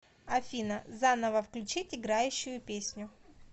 афина заново включить играющую песню